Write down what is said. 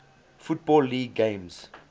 football league games